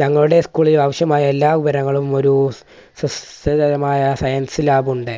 ഞങ്ങളുടെ സ്കൂളിലെ ആവശ്യമായ എല്ലാ വിവരങ്ങളും ഒരു science lab ഉണ്ട്.